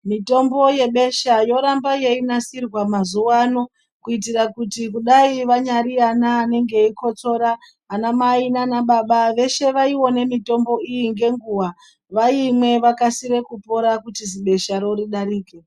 Mitombo yebesha yoramba yeinasirwa maziwa ano kuitira kuti dai vanyari anani nenge veikotsora ana mai nana baba veshe vaione mitombo iyi ngenguwa vaimwe vakasire kupora kuti zibesharo ridarike.